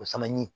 O fana ɲi